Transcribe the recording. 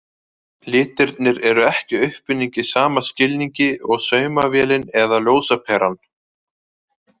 Litirnir eru ekki uppfinning í sama skilningi og saumavélin eða ljósaperan.